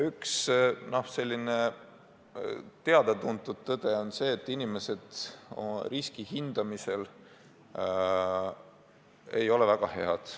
Üks teada-tuntud tõde on see, et inimesed ei oska riski väga hästi hinnata.